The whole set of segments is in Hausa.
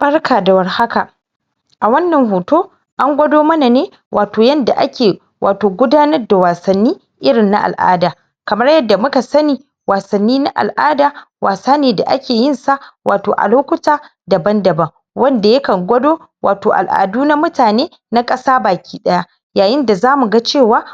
barka da war haka a wannan hoto angwado mana ne wato yanda ake wato gudanar da wasanni irin na al'ada kamar yanda muka sani wasannin na al'ada wasane da ake yinsa a lokuta daban daban wadda yakan gwado wato al'adu na mutane na ƙasa baki ɗaya yayin da zamu ga cewa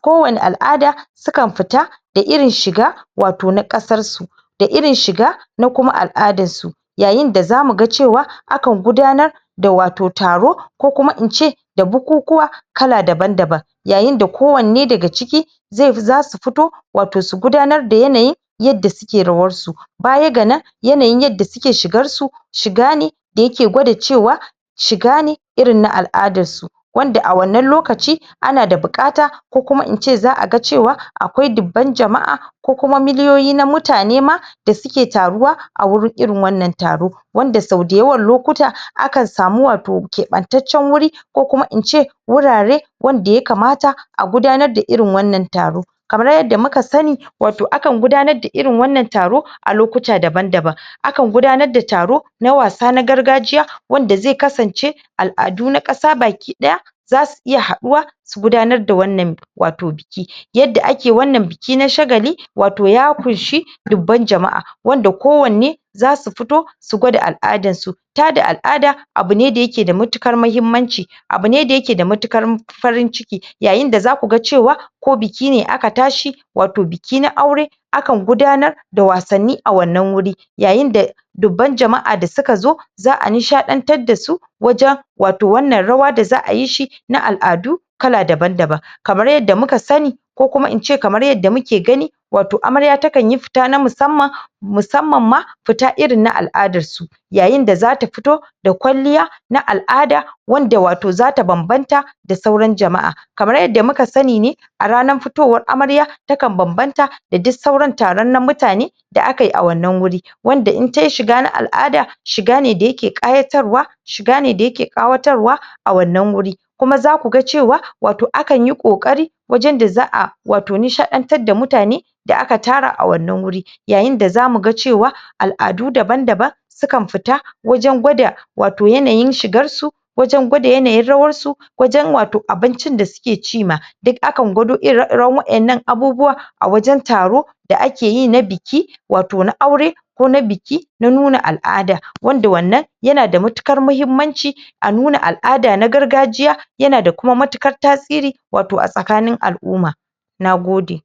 ko wanne al'ada sukan fita da irin shiga wato na ƙasarsu da irin shiga na kuma al'adarsu yayin da zamu ga cewa akan gudanar da wato taro ko kuma inci da bukukuwa kala daban daban yayin da ko wanne daga ciki zasu fito wato su gudanar da yanayin yanda suke rawarsu baya ga nan yanayin yandA suke shigarsu shiga ne da yake gwada cewa shiga ne irin na al'adarsu wanda a wannan lokacin ana da buƙata ko kuma inci za a ga cewa akwai dubban jama'a ko kuma miliyoyi na mutane ma da suke taruwa a gurin irin wannan taro wanda sau da yawan lokuta akan samu wato keɓaɓɓab wuri ko kuma inci gurare wanda ya kamata a gudanar da irin wannan taro kamar yanda muka sani wato akan gudanar da irin wannan taro a lokuta daban daban akan gudanar da taro na wasa na gargajiya wanda zai kasanci al'adu na kasa baki daya zasu iya haɗuwa su gudanar da wannan wato biki yanda ake wannan biki na shagali wato ya kunshe wato dubban jama'a wanda ko wanne zasu fito su gwada al'adarsu tada al'ada abune da yake da matuƙar mahimmanci abune da yake da matuƙar farin ciki yayin da zaku ga cewa ko bikine aka tashi wato biki na aure akan gudanar da wasanni a wannan guri yayin da dubban jama'a da suka zo za'a nishaɗantar dasu wajan wato wannan rawa da za'ayi shi na al'adu kala daban daban kamar yanda muka sani ko kuma inci kamar yanda muke gani wato amarya takanyi fita ta musamman musamman ma fita irin na al'adarsu yayin da zata fito da kwalliya na al'ada wanda wato zata babbanta da sauran jama'a kamar yanda muka sani ne a ranar fitowar amarya takan banbanta da duk sauran taro na mutane da akan a wannan wuri wanda in tai shiga na al'ada shiga ne da yake ƙayatarwa shiga ne da yake ƙawatarwa a wannan wuri kuma zaku ga cewa wato akanyi ƙoƙari wajan da za a wato nishaɗan tar da mutane a wannan wuri yayin da zamu ga cewa al'adu daban daban sukan fita wajan gwada wato yanayin shigarsu wajan gwada yanayin rawarsu wajan wato abincin da suke ci ma duk akan gwado ire iran waɗannan abubuwan a wajan taro da akeyi na biki wato na aure ko na biki na nuna al'ada wanda wannan yana da matuƙar mahimmanci a nuna al'ada na gargajiya yana da kuma matuƙar tasiri wato a tsakanin al'uma nagode